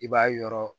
I b'a yɔrɔ